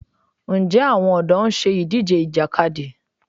Ǹjẹ́ àwọn ọ̀dọ́ ń ṣe ìdíje Ìjàkadì?